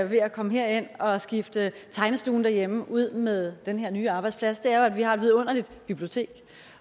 ved at komme herind og skifte tegnestuen derhjemme ud med den her nye arbejdsplads er jo at vi har et vidunderligt bibliotek